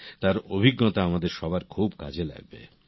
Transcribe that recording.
তাঁর অভিজ্ঞতা আমাদের সবার খুব কাজে লাগবে